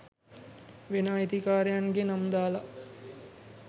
වෙන අයිතිකාරයන්ගේ නම් දාලා